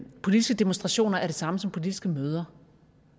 politiske demonstrationer er det samme som politiske møder